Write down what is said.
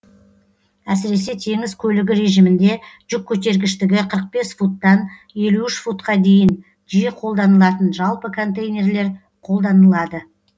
әсіресе теңіз көлігі режимінде жүк көтергіштігі қырық бес футтан елу үш футқа дейін жиі қолданылатын жалпы контейнерлер қолданылады